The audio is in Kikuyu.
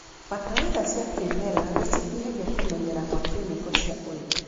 Bataraitha cia kĩmerera nĩcinyihagia kũmenyera kwa kĩmĩko cia ũrĩmi.